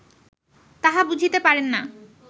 তাহা বুঝিতে পারেন না